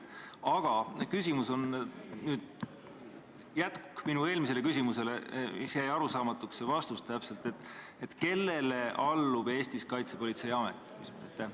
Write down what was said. Aga küsimus on jätk minu eelmisele küsimusele, mille vastus jäi arusaamatuks: kellele allub Eestis Kaitsepolitseiamet?